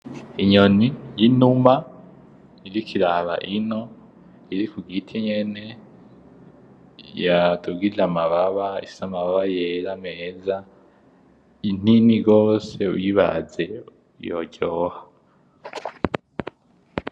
Inyoni y'inuma iriko iraba ino iri kugiti nyene yateguye amababa, ifise amababa yera meza, inini gose uyibaze yoryoha.